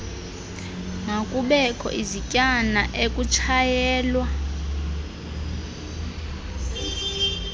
makubekho izityana ekutshayelwa